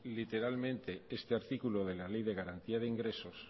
literalmente este artículo de la ley de garantía de ingresos